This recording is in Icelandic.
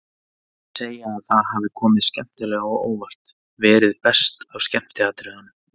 Þeir segja að það hafi komið skemmtilega á óvart, verið best af skemmtiatriðunum.